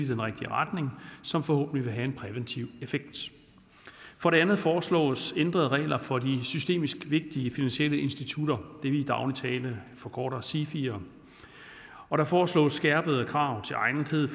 den rigtige retning som forhåbentlig vil have en præventiv effekt for det andet foreslås ændrede regler for de systemisk vigtige finansielle institutter det vi i daglig tale forkorter sifier og der foreslås skærpede krav til egnethed